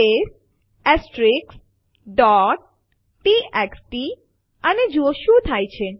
તે this is a Linux file to test the CMP command text સમાવે છે